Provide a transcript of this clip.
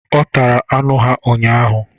Ọ tara anụ ha ụnyaahụ.